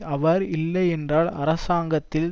அவர் இல்லை என்றால் அரசாங்கத்தில்